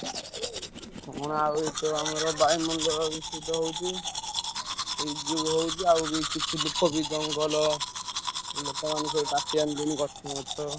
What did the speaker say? କଣ ଆଉ ଏଇତ ଆମର ବାୟୁମଣ୍ଡଳ ଦୂଷିତ ହଉଛି। ସେଇ ଯୋଗୁ ହଉଛି ଆଉ ବି କିଛି ଲୋକ ବି ଜଙ୍ଗଲ ଲୋକମାନେ ସବୁ କାଟି ଆଣିଲେଣି ଗଛ ମଛ।